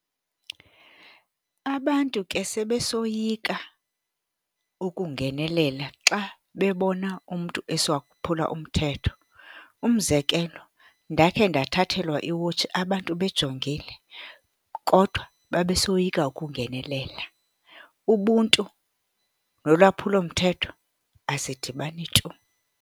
Abantu ke sebesoyika ukungenelela xa bebona umntu esiwaphula umthetho. Umzekelo, ndakhe ndathathelwa iwotshi abantu bejongile kodwa babe soyika ukungenelela. Ubuntu nolwaphulomthetho azidibani tu.